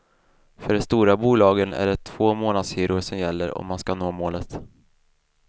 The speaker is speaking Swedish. För de stora bolagen är det två månadshyror som gäller om man ska nå målet.